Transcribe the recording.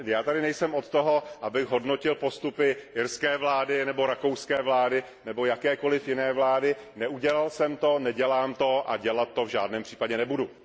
Já tady nejsem od toho, abych hodnotil postupy irské vlády nebo rakouské vlády nebo jakékoli jiné vlády, neudělal jsem to, nedělám to a dělat to v žádném případě nebudu.